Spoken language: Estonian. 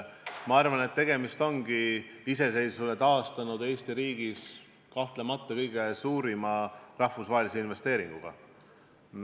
Ma arvan, et tegemist on iseseisvuse taastanud Eesti riigis kahtlemata kõige suurema rahvusvahelise investeeringuga.